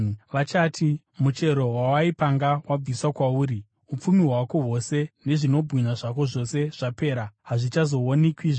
“Vachati, ‘Muchero wawaipanga wabviswa kwauri. Upfumi hwako hwose nezvinobwinya zvako zvose zvapera, hazvichazowanikwizve.’